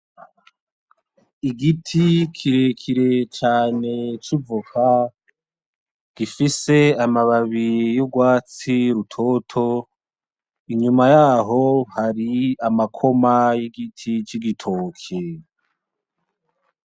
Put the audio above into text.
Igiti kirekire cane c'ivoka gifise amababi y'urwatsi rutoto, inyuma yaho hari amakoma y'igiti c'igitoke.